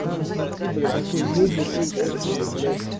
там смотри бля такой негр им поцоны блять